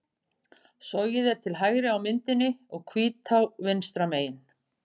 Sogið er til hægri á myndinni og Hvítá vinstra megin.